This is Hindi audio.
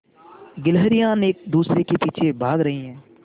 गिल्हरियान एक दूसरे के पीछे भाग रहीं है